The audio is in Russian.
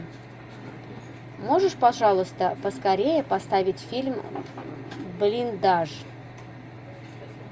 можешь пожалуйста поскорее поставить фильм блиндаж